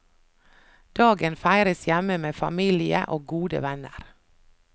Dagen feires hjemme med familie og gode venner.